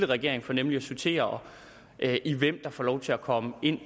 regering for nemlig at sortere hvem der får lov til at komme ind